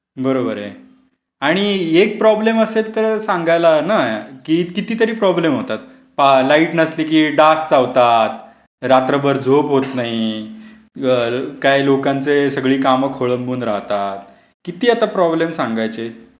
बरोबर आहे. आणि एक प्रॉब्लेम असेल तर सांगायला ना. कितीतरी प्रॉब्लेम होतात. लाईट नसली की डास चावतात, रात्रभर झोपत नाही, काय लोकांची सगळी काम कोळंबून राहतात. किती आता प्रॉब्लेम सांगायचे.